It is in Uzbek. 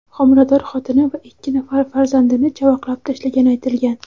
homilador xotini va ikki nafar farzandini chavaqlab tashlagani aytilgan.